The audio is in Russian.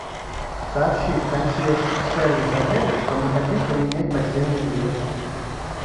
сообщи в консьерж сервис отеля что мы хотим поменять постельное белье